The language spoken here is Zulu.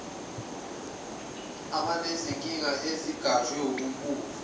abanezinkinga ezigajwe wubumpofu